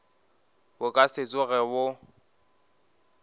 bo ka se tsoge bo